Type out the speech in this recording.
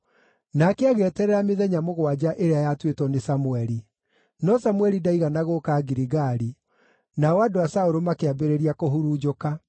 Nake agĩeterera mĩthenya mũgwanja ĩrĩa yatuĩtwo nĩ Samũeli; no Samũeli ndaigana gũũka Giligali, nao andũ a Saũlũ makĩambĩrĩria kũhurunjũka.